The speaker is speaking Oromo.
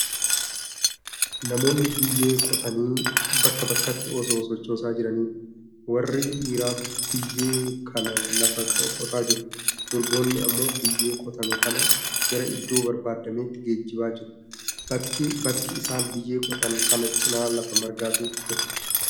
Namoonni biyyee qotanii bakka bakkatti osoo sochoosaa jiraniidha. Warri dhiiraa biyyee kana lafaa qotaa jiru; durboonni ammoo biyyee qotame kana gara iddoo barbaadameetti geejjibaa jiru. Bakka isaan biyye qotan kana cinaa lafa margaatu jira.